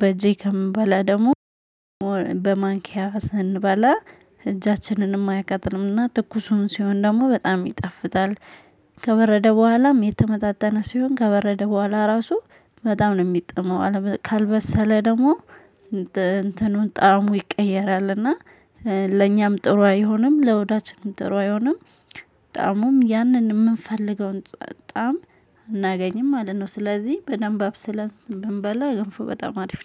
በእጄ ከምበላ ደግሞ በማንኪያ ስንበላ እጃችንንም አይቃጥልምና ትኩሱን ሲሆን ደግሞ በጣም ይጣፍጣል። ከበረደ በኋላም የተመጣጠነ ሲሆን ከበረደ በኋላ ራሱ በጣም ነው የሚጥመው። ካልበሰለ ደግሞ እንትኑን ጣዕሙ ይቀየራል። እና ለኛም ጥሩ አይሆንም ለሆዳችንም ጥሩ አይሆንም። ጣእሙም ያንን የምንፈልገውን ጣዕም አናገኝም ማለት ነው። ስለዚህ በደንብ አብሰለን ብንበላ ገንፎ በጣም አሪፍ ነው